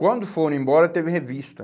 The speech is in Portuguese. Quando foram embora, teve revista.